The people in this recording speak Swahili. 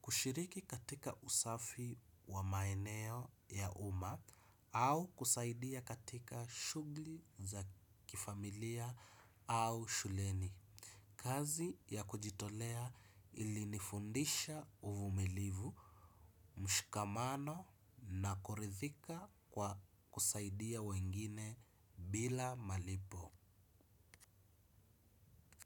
kushiriki katika usafi wa maeneo ya umma, au kusaidia katika shughuli za kifamilia au shuleni. Kazi ya kujitolea ilinifundisha uvumilivu, mshikamano na kuridhika kwa kusaidia wengine bila malipo.